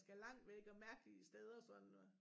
Skal langt væk og mærkelige steder sådan og